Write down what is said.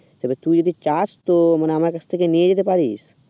তবে তুই যদি চাস তো মানে আমার কাছ থেকে নিয়ে নিতে পারিস